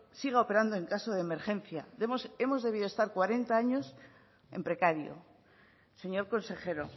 siga operando en caso de emergencia hemos debido estar cuarenta años en precario señor consejero